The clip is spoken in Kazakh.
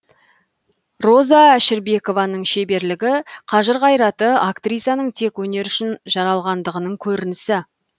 роза әшірбекованың шеберлігі қажыр қайраты актрисаның тек өнер үшін жаралғандығының көрінісі